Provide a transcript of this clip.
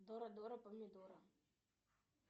дора дора помидора